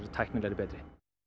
tæknilegra betri